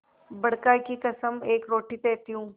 बड़का की कसम एक रोटी देती हूँ